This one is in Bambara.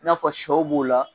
I n'a fɔ sɛw b'o la